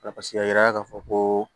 Paseke a yira ka fɔ ko